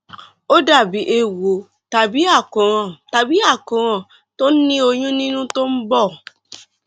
ó dàbí eéwo tàbí àkóràn tàbí àkóràn tó ní ọyún nínú tó ń bọ